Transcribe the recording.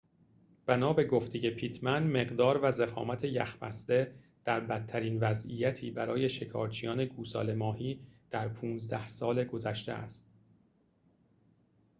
بنا به گفته پیتمن مقدار و ضخامت یخ بسته در بدترین وضعیتی برای شکارچیان گوساله ماهی در ۱۵ سال گذشته است